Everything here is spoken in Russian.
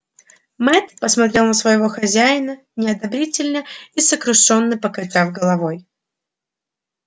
мэтт посмотрел на своего хозяина неодобрительно и сокрушённо покачав головой